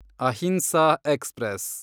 Ahimsa express